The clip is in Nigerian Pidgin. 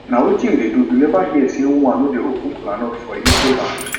na wetin you dey do you never hear say women no dey open kola nut for igbo land